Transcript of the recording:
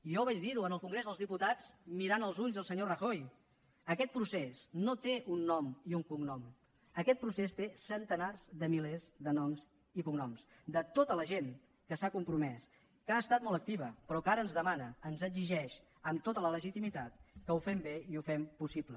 jo vaig dirho en el congrés dels diputats mirant als ulls el senyor rajoy aquest procés no té un nom i un cognom aquest procés té centenars de milers de noms i cognoms de tota la gent que s’ha compromès que ha estat molt activa però que ara ens demana ens exigeix amb tota la legitimitat que ho fem bé i ho fem possible